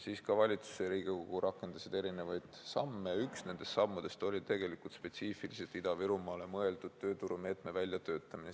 Siis ka valitsus ja Riigikogu rakendasid erinevaid samme ja üks nendest sammudest oli spetsiifiliselt Ida-Virumaale mõeldud tööturumeetme väljatöötamine.